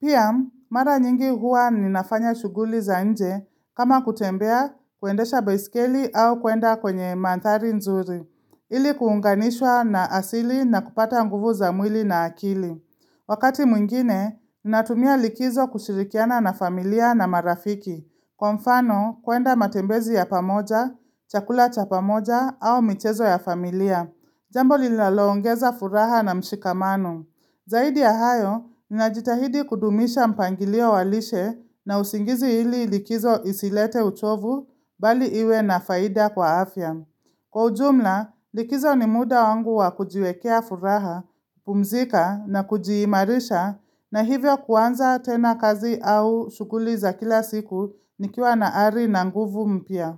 Pia mara nyingi huwa ninafanya shughuli za nje kama kutembea kuendesha baiskeli au kuenda kwenye mandhari nzuri ili kuunganishwa na asili na kupata nguvu za mwili na akili Wakati mwingine ninatumia likizo kushirikiana na familia na marafiki Kwa mfano kuenda matembezi ya pamoja, chakula cha pamoja au michezo ya familia Jambo linaloongeza furaha na mshikamano Zaidi ya hayo, ninajitahidi kudumisha mpangilio wa lishe na usingizi ili likizo isilete uchovu bali iwe na faida kwa afya. Kwa ujumla, likizo ni muda wangu wa kujiwekea furaha, pumzika na kujiimarisha na hivyo kuanza tena kazi au shughuli za kila siku nikiwa na ari na nguvu mpya.